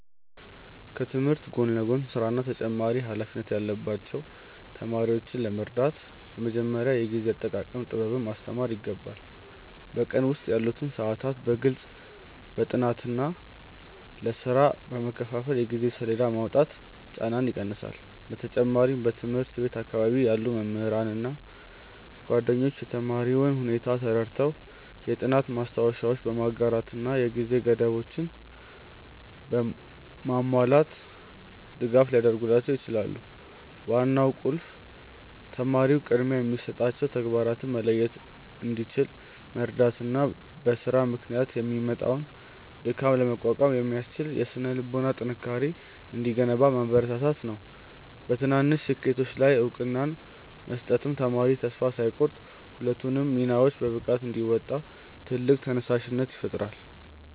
ከትምህርት ጎን ለጎን ሥራና ተጨማሪ ኃላፊነት ያለባቸውን ተማሪዎች ለመርዳት በመጀመሪያ የጊዜ አጠቃቀም ጥበብን ማስተማር ይገባል። በቀን ውስጥ ያሉትን ሰዓታት በግልጽ ለጥናትና ለሥራ በመከፋፈል የጊዜ ሰሌዳ ማውጣት ጫናውን ይቀንሰዋል። በተጨማሪም በትምህርት ቤት አካባቢ ያሉ መምህራንና ጓደኞች የተማሪውን ሁኔታ ተረድተው የጥናት ማስታወሻዎችን በማጋራትና የጊዜ ገደቦችን በማላላት ድጋፍ ሊያደርጉላቸው ይችላሉ። ዋናው ቁልፍ ተማሪው ቅድሚያ የሚሰጣቸውን ተግባራት መለየት እንዲችል መርዳትና በሥራ ምክንያት የሚመጣውን ድካም ለመቋቋም የሚያስችል የሥነ-ልቦና ጥንካሬ እንዲገነባ ማበረታታት ነው። በትናንሽ ስኬቶች ላይ እውቅና መስጠትም ተማሪው ተስፋ ሳይቆርጥ ሁለቱንም ሚናዎች በብቃት እንዲወጣ ትልቅ ተነሳሽነት ይፈጥርለታል።